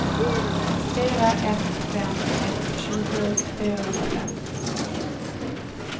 fyra ett fem ett tjugosju fyrahundrafem